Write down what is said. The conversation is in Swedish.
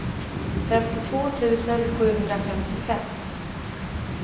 femtiotvå tusen sjuhundrafemtiofem